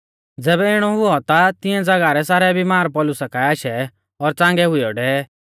ज़ैबै इणौ हुऔ ता तिऐं ज़ागाह रै सारै बिमार पौलुसा काऐ आशै और च़ांगै हुइयौ डेवै